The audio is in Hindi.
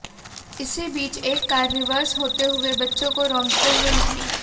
इसी बीच एक कार रिवर्स होते हुए बच्चे को रोंदते हुए निकली